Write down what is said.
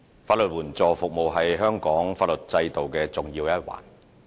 法援服務是香港法律制度的重要一環。